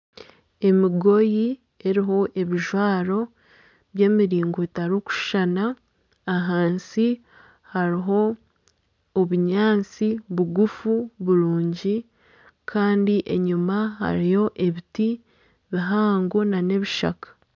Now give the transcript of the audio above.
Emigoyi eriho ebijwaro by'emiringo etarikushushana. Ahansi hariho obunyaatsi bugufu burungi Kandi enyima hariyo ebiti bihango n'ebishaka.